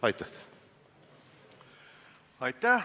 Aitäh!